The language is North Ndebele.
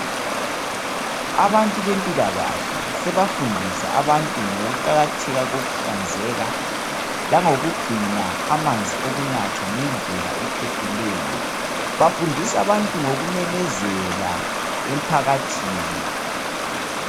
Abantu bempilakahle sebafundisa abantu ngokuqakatheka kokuhlanzeka langokugcina amanzi okunatha ngendlela ephephileyo bafundisa abantu ngokumemezela emphakathini.